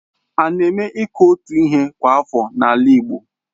Ána eme iku otu ihe kwa afọ n'ala Igbo?